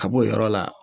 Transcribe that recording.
Ka b'o yɔrɔ la